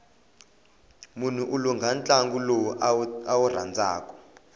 mnhu u langha ntlangu lowu a wu rhandzaku